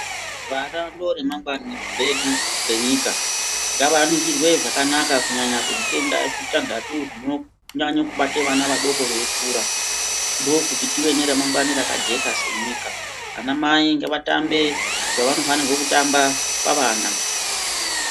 Vana ndoremangwani redu renyika ngavaningirwe zvakanaka kunyanya kuzvitenda zvitantatu zvinonyanye kubate vana vAdoko veikura ndokuti tive neremangwani rakajeka senyika ana mai ngavatambe zvavanofanirwe kutamba pavana.